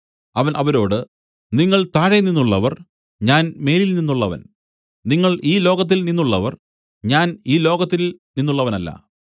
അവൻ അവരോട് നിങ്ങൾ താഴെനിന്നുള്ളവർ ഞാൻ മേലിൽനിന്നുള്ളവൻ നിങ്ങൾ ഈ ലോകത്തിൽനിന്നുള്ളവർ ഞാൻ ഈ ലോകത്തിൽ നിന്നുള്ളവനല്ല